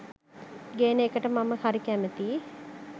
ගේන එකට මම හරි කැමතී.